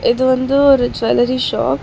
இது வந்து ஒரு ஜொல்லரி ஷாப் .